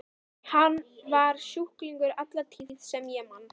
Hann var sjúklingur alla tíð sem ég man.